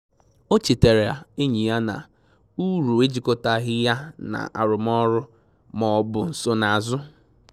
O chetaara enyi ya na uru ejịkọtaghị ya na arụmọrụ ma ọ bụ nsonazu